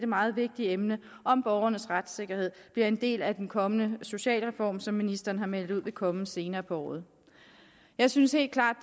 meget vigtige emne om borgernes retssikkerhed bliver en del af den kommende socialreform som ministeren har meldt ud vil komme senere på året jeg synes helt klart